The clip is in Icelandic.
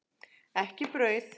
Ekki brauð.